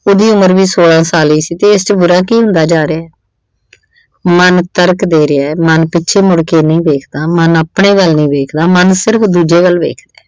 ਉਹਦੀ ਉਮਰ ਵੀ ਸੋਲਾਂ ਸਾਲ ਹੀ ਸੀ ਤੇ ਇਸ ਚ ਵੱਡਾ ਕੀ ਹੁੰਦਾ ਜਾ ਰਿਹਾ। ਮਨ ਤਰਕ ਦੇ ਰਿਹਾ। ਮਨ ਪਿੱਛੇ ਮੁੜ ਕੇ ਨਹੀਂ ਦੇਖਦਾ। ਮਨ ਆਪਣੇ ਵੱਲ ਨਹੀਂ ਦੇਖਦਾ। ਮਨ ਸਿਰਫ਼ ਦੂਜੇ ਵੱਲ ਦੇਖਦਾ।